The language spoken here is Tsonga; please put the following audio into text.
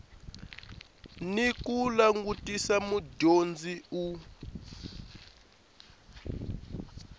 ni ku langutisa mudyondzi u